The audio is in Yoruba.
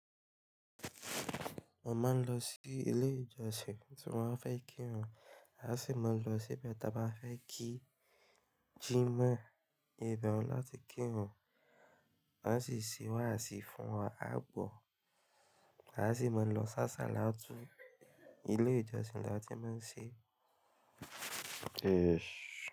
Mo máa ń lọ sí ilé ìjọsìn tí mo ba fẹ́ kírun, a sì máa ń lọ sí ibi tí a bá fẹ́ kí jímọ̀ ìbe hun láti kírun. Wa sì se waasì fún wa, aa gbọ̀. A sì máa ń lọ s'áṣàlatu, ilé ìjọsìn láti máa ń ṣe.